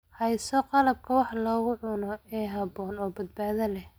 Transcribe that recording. Hayso qalabka wax lagu cuno ee habboon oo badbaado leh.